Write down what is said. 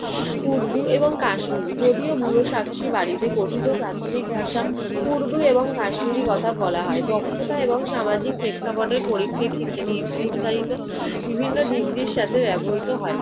উর্দু এবং কাশ্মীরি। যদিও বুড়ো সাকসি বাড়িতে কথিত প্রাথমিক ভাষা। উর্দু এবং কাশ্মীরি কথা বলা হয়। দক্ষতা এবং সামাজিক প্রেক্ষাপটের পরিপ্রেক্ষিতে নির~ নির্ধারিত বিভিন্ন ডিগ্রির সাথে ব্যবহৃত হয়।